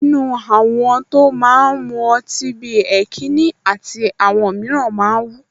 Inú àwọn tó máa ń mu ọtí bí i Heineken àti àwọn mìíràn máa ń wú